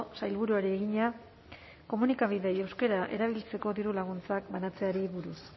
sailburuari egina komunikabideei euskara erabiltzeko diru laguntzak banatzeari buruz